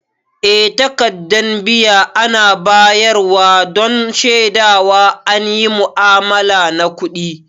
Eh takaddan biya ana bayar wa don shedawa an yi mu'amala na kudi.